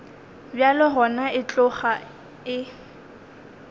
bjalo gona e tloga e